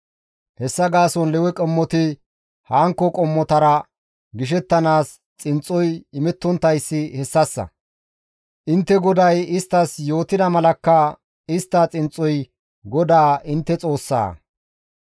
Hessa gaason Lewe qommoti hankko qommotara gishettanaas xinxxoy imettonttayssi hessassa; intte GODAY isttas yootida malakka istta xinxxoy GODAA intte Xoossaa.]